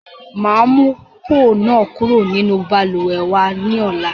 Máa mu póò náà kúrò nínú Balùwẹ́ wa ni ọ̀la